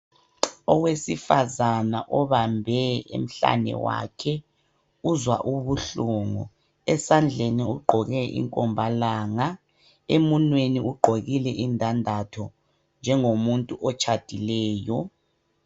Owesifazane obambe emhlane wakhe uzwa ubuhlungu. Esandleni ugqoke inkombalanga ,emunweni ugqokile indandatho njengomuntu otshadileyo.